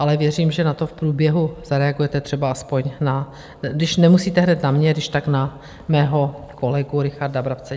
Ale věřím, že na to v průběhu zareagujete, třeba aspoň na - když nemusíte hned na mě - když tak na mého kolegu Richarda Brabce.